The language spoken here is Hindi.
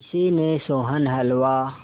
किसी ने सोहन हलवा